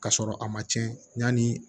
K'a sɔrɔ a ma tiɲɛ yanni